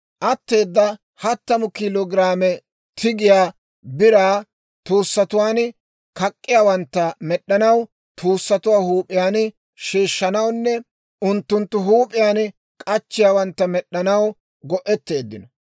Atteeda hattamu kiilo giraame tigiyaa biraa tuussatuwaan kak'k'iyaawantta med'd'anaw, tuussatuwaa huup'iyaan sheeshshanawunne unttunttu huup'iyaan k'achchiyaawantta med'd'anaw go'etteeddino.